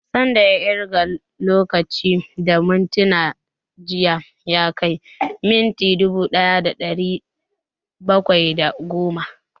San da ya ƙirga lokacin da mintuna jiya ya kai mintuna dubu ɗaya da ɗari bakwai da goma?